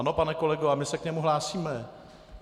Ano, pane kolego, a my se k němu hlásíme.